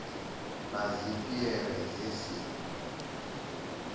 na dzi piere dzi si